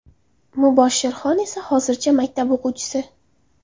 Muboshshirxon esa hozircha maktab o‘quvchisi.